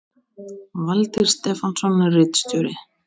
Valtýr Stefánsson ritstjóri